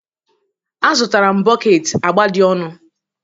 Azụtara m bọket agba dị ọnụ